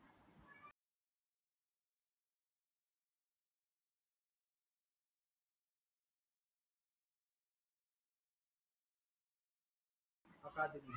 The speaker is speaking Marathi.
अकादमी